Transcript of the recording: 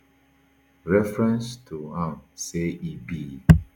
reference to am say e be